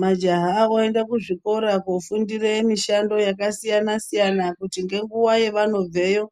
Majaha voenda kuzvikora kofundira mishando yakasiyana siyana ngenguwa yanobveyo